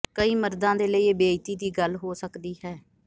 ਕਈ ਮਰਦਾਂ ਦੇ ਲਈ ਇਹ ਬੇਇੱਜ਼ਤੀ ਦੀ ਗੱਲ ਹੋ ਸਕਦੀ ਹੈ